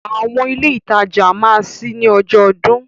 Àwọn ilé ìtajà máa ṣí ní ọjọ́ ọdún.